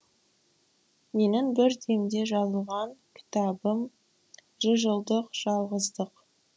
менің бір демде жазылған кітабым жүз жылдық жалғыздық